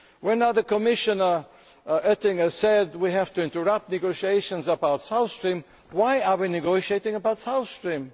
When Commissioner Oettinger said that we have to interrupt negotiations about South Stream, why are we negotiating about South Stream?